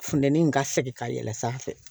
Funtɛnin in ka segin ka yɛlɛ sanfɛ